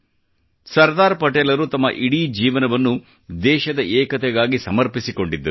ಸರ್ದಾರ್ ಪಟೇಲರು ತಮ್ಮ ಇಡೀ ಜೀವನವನ್ನು ದೇಶದ ಏಕತೆಗಾಗಿ ಸಮರ್ಪಿಸಿಕೊಂಡಿದ್ದರು